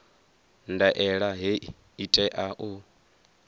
ndaela hei i tea u